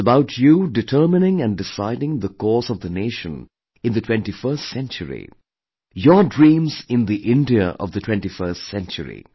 It's about you determining & deciding the course of the nation in the 21stcentury, your dreams in the India of the 21st century